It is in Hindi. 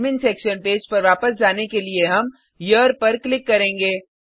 एडमिन सेक्शन पेज पर वापस जाने के लिए हम हेरे पर क्लिक करेंगे